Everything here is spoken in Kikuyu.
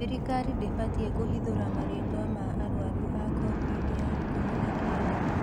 Thirikari ndĩbatii kũhithũria marĩtwa ma arwaru a kovid ya ikumi na kenda